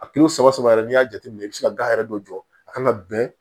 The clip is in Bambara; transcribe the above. A saba saba saba yɛrɛ n'i y'a jateminɛ i bɛ se ka gan yɛrɛ dɔ jɔ a kan ka bɛn